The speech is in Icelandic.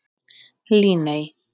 Líney